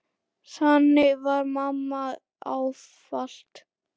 Þannig var mamma ávallt.